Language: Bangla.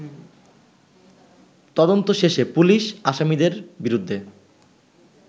তদন্ত শেষে পুলিশ আসামিদের বিরুদ্ধে